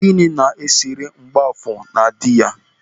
Gịnị na esere Mgbọafọ na dị ya?